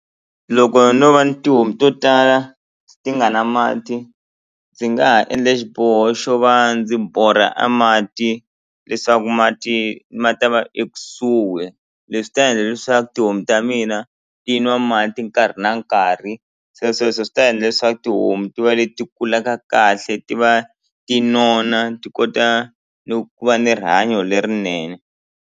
Loko no va ni tihomu to tala ti nga na mati ndzi nga ha endla xiboho xo va ndzi borha a mati leswaku mati ma ta va ekusuhi leswi ta endla leswaku tihomu ta mina ti nwa mati nkarhi na nkarhi se sweswo swi ta endla leswaku tihomu ti va leti kulaka kahle ti va ti nona ti kota no ku va ni rihanyo lerinene.